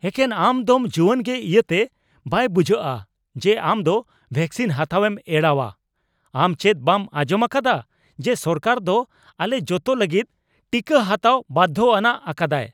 ᱮᱠᱮᱱ ᱟᱢ ᱫᱚᱢ ᱡᱩᱣᱟᱹᱱᱜᱮ ᱤᱭᱟᱹᱛᱮ ᱵᱟᱭ ᱵᱩᱡᱷᱟᱹᱣᱼᱟ ᱡᱮ ᱟᱢ ᱫᱚ ᱵᱷᱮᱠᱥᱤᱱ ᱦᱟᱛᱟᱣᱮᱢ ᱮᱲᱟᱣᱼᱟ ᱾ ᱟᱢ ᱪᱮᱫ ᱵᱟᱢ ᱟᱸᱡᱚᱢ ᱟᱠᱟᱫᱼᱟ ᱡᱮ ᱥᱚᱨᱠᱟᱨ ᱫᱚ ᱟᱞᱮ ᱡᱚᱛᱚ ᱞᱟᱹᱜᱤᱫ ᱴᱤᱠᱟᱹ ᱦᱟᱛᱟᱣ ᱵᱟᱫᱫᱷᱚ ᱟᱱᱟᱜ ᱟᱠᱟᱫᱟᱭ ?